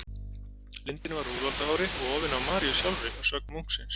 Lindinn var úr úlfaldahári og ofinn af Maríu sjálfri, að sögn munksins.